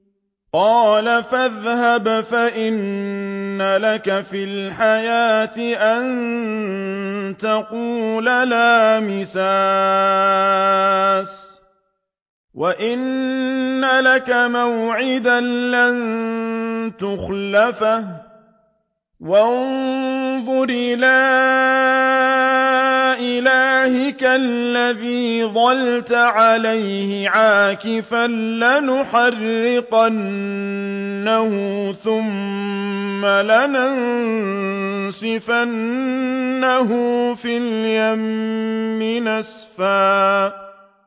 قَالَ فَاذْهَبْ فَإِنَّ لَكَ فِي الْحَيَاةِ أَن تَقُولَ لَا مِسَاسَ ۖ وَإِنَّ لَكَ مَوْعِدًا لَّن تُخْلَفَهُ ۖ وَانظُرْ إِلَىٰ إِلَٰهِكَ الَّذِي ظَلْتَ عَلَيْهِ عَاكِفًا ۖ لَّنُحَرِّقَنَّهُ ثُمَّ لَنَنسِفَنَّهُ فِي الْيَمِّ نَسْفًا